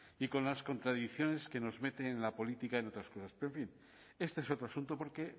y con las contradicciones que nos meten en la política y en otras cosas pero en fin este es otro asunto porque